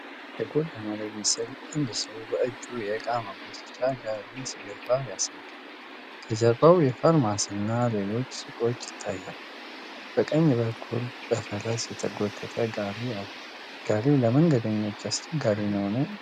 የጎዳና ላይ ምስል አንድ ሰው በእጁ የእቃ መጎተቻ ጋሪ ሲገፋ ያሳያል። ከጀርባው የፋርማሲ እና ሌሎች ሱቆች ይታያሉ። በቀኝ በኩል በፈረስ የተጎተተ ጋሪ አለ። ጋሪው ለመንገደኞች አስቸጋሪ ነው?